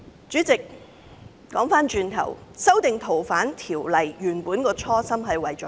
主席，修訂《逃犯條例》的初心是甚麼？